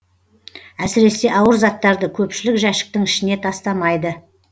әсіресе ауыр заттарды көпшілік жәшіктің ішіне тастамайды